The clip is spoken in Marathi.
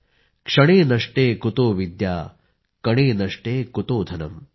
क्षणे नष्टे कुतो विद्या कणे नष्टे कुतो धनम् ।।